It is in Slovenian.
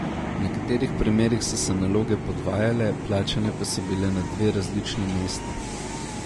V nekaterih primerih so se naloge podvajale, plačane pa so bile na dve različni mesti.